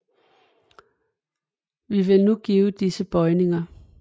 Vi vil nu give disses bøjninger